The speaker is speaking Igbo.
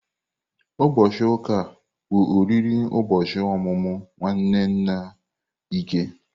Ụbọchị ụka a, bụ oriri ụbọchị ọmụmụ nwanne nna Ike.